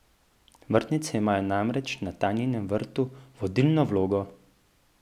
Vrtnice imajo namreč na Tanjinem vrtu vodilno vlogo.